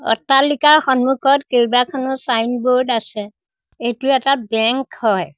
অট্টালিকাৰ সন্মুখত কেইবাখনো ছাইনবোৰ্ড আছে এইটো এটা বেংক হয়।